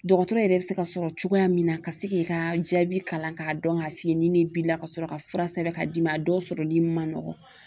Dɔgɔtɔrɔ yɛrɛ bɛ se ka sɔrɔ cogoya min na ka se k'i ka jaabi kalan k'a dɔn k'a f'i ye ni nin b'i la ka sɔrɔ ka fura sɛbɛn ka d'i ma a dɔw sɔrɔli man nɔgɔn